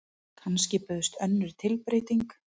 Kannski bauðst önnur tilbreyting.